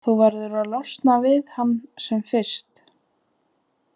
Þú verður að losna við hann sem fyrst.